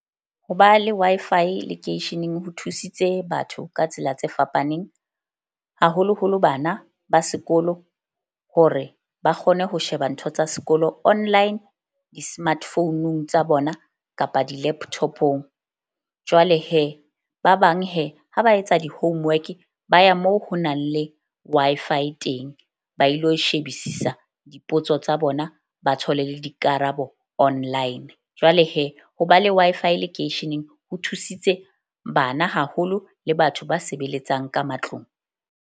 Ho ba le Wi-Fi lekeisheneng ho thusitse batho ka tsela tse fapaneng, haholoholo bana ba sekolo, hore ba kgone ho sheba ntho tsa sekolo online di-smart founung tsa bona kapa di-laptop-ong. Jwale ba bang ha ba etsa di-homework ba ya moo ho nang le Wi-Fi teng, ba ilo shebisisa dipotso tsa bona, ba thole le dikarabo online. Jwale ho ba le Wi-Fi lekeisheneng ho thusitse bana haholo le batho ba sebeletsang ka matlong.